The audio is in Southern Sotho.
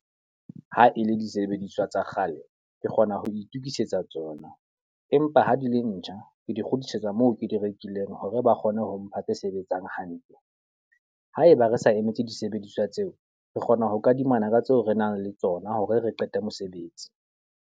Ha e le disebediswa tsa kgale, ke kgona ho itokisetsa tsona. Empa ha di le ntjha, ke di kgutlisetsa moo ke di rekileng hore ba kgone ho mpha tse sebetsang hantle. Haeba re sa emetse disebediswa tseo, re kgona ho kadimana ka tseo re nang le tsona hore re qete mosebetsi.